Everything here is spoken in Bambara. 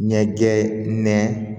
Ɲɛjɛ nɛ